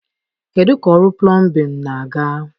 Kedu ka ọrụ plọmbịn na-aga?